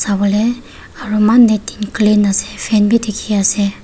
sabole aru need and clean ase fab bhi dekhi ase.